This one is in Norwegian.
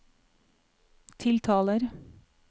tiltaler